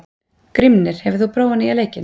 Grímnir, hefur þú prófað nýja leikinn?